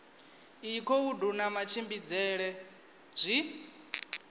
iyi khoudu na matshimbidzele zwi